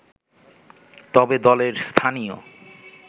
তবে দলের স্থানীয়